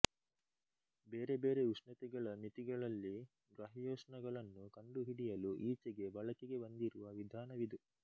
ಬೇರೆ ಬೇರೆ ಉಷ್ಣತೆಗಳ ಮಿತಿಗಳಲ್ಲಿ ಗ್ರಹ್ಯೋಷ್ಣಗಳನ್ನು ಕಂಡುಹಿಡಿಯಲು ಈಚೆಗೆ ಬಳಕೆಗೆ ಬಂದಿರುವ ವಿಧಾನವಿದು